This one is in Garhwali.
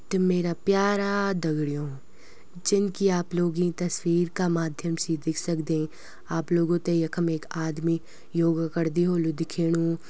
त मेरा प्यारा दगड़यूँ जनकि आप लोग यीं तस्वीर का माध्यम से दिख सकदें आप लोगों तें यखम एक आदमी योगा करदि होलु दिखेणु।